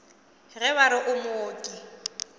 ge ba re o mooki